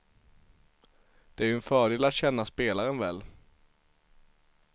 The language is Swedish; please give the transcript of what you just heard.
Det är ju en fördel att känna spelaren väl.